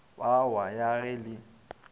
be wa ya le ge